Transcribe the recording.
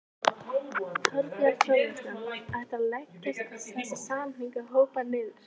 Þorbjörn Þórðarson: Ætlarðu að leggja þessa samningahópa niður?